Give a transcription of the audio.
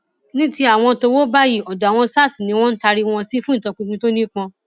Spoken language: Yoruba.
ní ti àwọn tówó bá yìí ọdọ àwọn sars ni wọn taari wọn sí fún ìtọpinpin tó nípọn